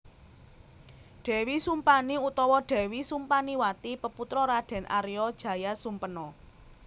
Dèwi Sumpani utawa Dèwi Sumpaniwati peputra Raden Arya Jayasumpena